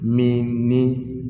Min ni